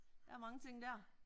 Der er mange ting der